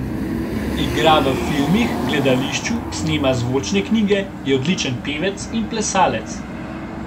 Igra v filmih, gledališču, snema zvočne knjige, je odličen pevec in plesalec.